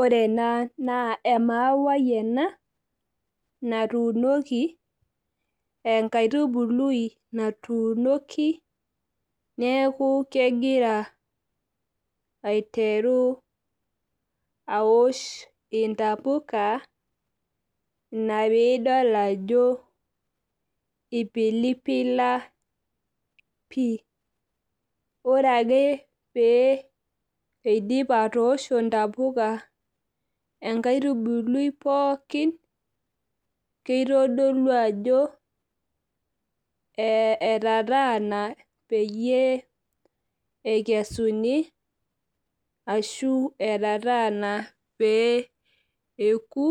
Ore ena naa emawai ena natuunoki. enkaitubului natuunoki. neeku kegira aiteru aosh ntapuka. ina pee idol ajo, ipilipila, pii. ore ake pee eidip atoosho ntapuka enkaitubului pookin. keitodolu ajo etataana peyie eikesuni. ashu etataana pee eku.